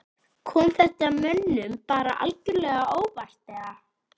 Kom þetta mönnum bara algjörlega á óvart eða?